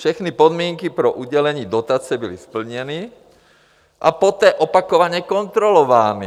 Všechny podmínky pro udělení dotace byly splněny a poté opakovaně kontrolovány.